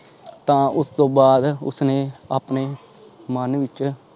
ਤਾਂ ਉਸ ਤੋਂ ਬਾਅਦ ਉਸਨੇ ਆਪਣੇ ਮਨ ਵਿਚ